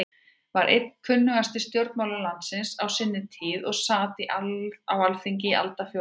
var einn kunnasti stjórnmálamaður landsins á sinni tíð og sat á Alþingi í aldarfjórðung.